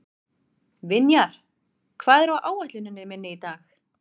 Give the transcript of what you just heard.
Vinjar, hvað er á áætluninni minni í dag?